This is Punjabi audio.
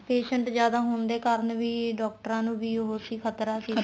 patient ਜਿਆਦਾ ਹੋਣ ਦੇ ਕਾਰਨ ਵੀ ਡਾਕਟਰਾਂ ਵੀ ਉਹ ਸੀ ਖਤਰਾ ਸੀ